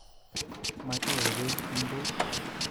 Mati'yai bek eng bee